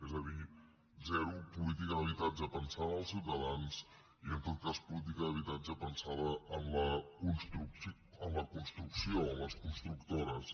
és a dir zero política d’habitatge pensant en els ciutadans i en tot cas política d’habitatge pensant en la construcció en les constructores